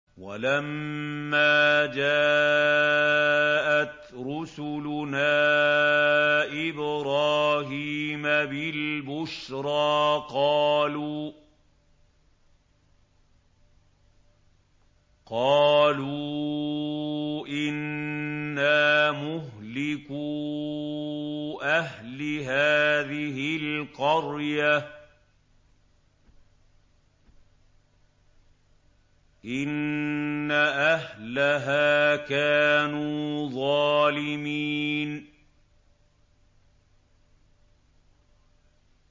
وَلَمَّا جَاءَتْ رُسُلُنَا إِبْرَاهِيمَ بِالْبُشْرَىٰ قَالُوا إِنَّا مُهْلِكُو أَهْلِ هَٰذِهِ الْقَرْيَةِ ۖ إِنَّ أَهْلَهَا كَانُوا ظَالِمِينَ